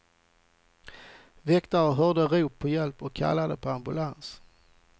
Väktare hörde rop på hjälp och kallade på ambulans.